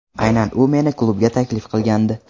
Aynan u meni klubga taklif qilgandi.